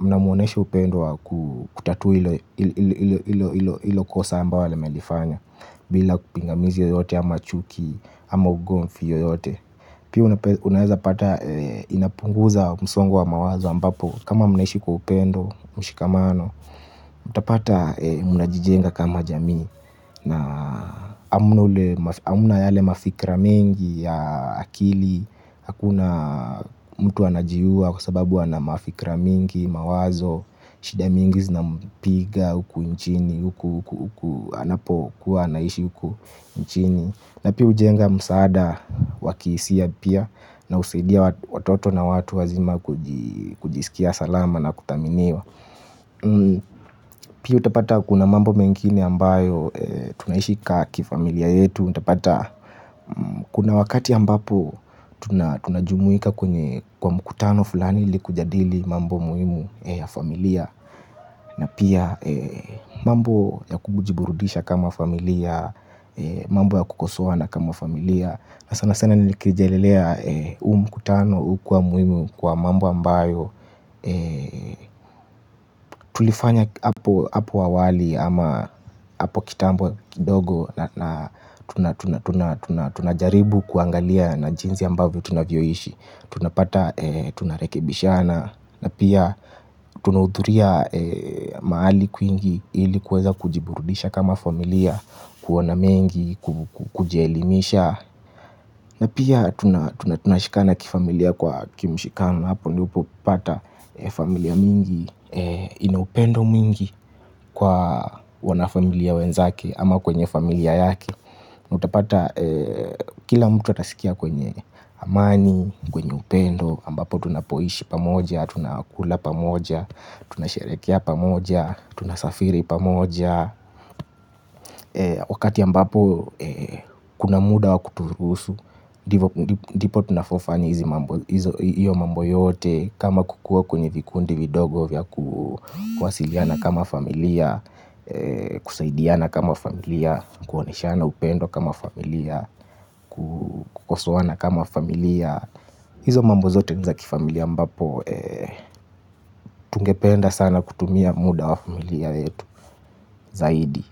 Mnamuoneshe upendo wa kutatua hilo kosa ambalo amelifanya. Bila pingamizi yoyote ama chuki, ama ugomvi yoyote. Pia unaweza pata inapunguza msongo wa mawazo ambapo kama mnaishi kwa upendo mshikamano. Mtapata mnajijenga kama jamii na hamna yale mafikra mengi ya akili. Hakuna mtu anajiua kwa sababu wana mafikra mingi mawazo. Shida mingi zinampiga huku nchini huku huku anapokuwa anaishi huku nchini na pia hujenga msaada wa kihisia pia na husaidia watoto na watu wazima kujisikia salama na kuthaminiwa. Pia utapata kuna mambo mengine ambayo tunaiishi ka kifamilia yetu. Utapata kuna wakati ambapo tunajumuika kwa mkutano fulani ili kujadili mambo muhimu ya familia. Na pia mambo ya kujiburudisha kama familia, mambo ya kukosoana kama familia. Na sana sana nikirejelea huu mkutano hukuwa muhimu kwa mambo ambayo tulifanya hapo awali ama hapo kitambokidogo. Na tunajaribu kuangalia na jinsi ambavyo tunavyoishi. Tunapata tunarekebishana. Na pia tunahudhuria mahali kwingi ili kuweza kujiburudisha kama familia. Kuona mengi kujielimisha. Na pia tunashikana kifamilia kwa kimshikano. Hapo ndipo hupata familia mingi ina upendo mwingi kwa wanafamilia wenzake ama kwenye familia yake utapata kila mtu atasikia kwenye amani, kwenye upendo ambapo tunapoishi pamoja, tunakula pamoja. Tunasheherekea pamoja, tunasafiri pamoja. Wakati ambapo kuna muda wa kuturuhusu. Ndipo tunavyofanya hiyo mambo yote kama kukuwa kwenye vikundi vidogo vya kuwasiliana kama familia. Kusaidiana kama familia, kuoneshana upendo kama familia, kukosoana kama familia. Hizo mambo zote ni za kifamilia ambapo tungependa sana kutumia muda wa familia yetu zaidi.